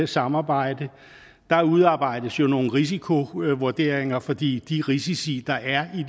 samarbejde der udarbejdes nogle risikovurderinger fordi de risici der er